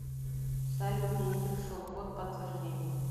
салют мне не пришел код подтверждения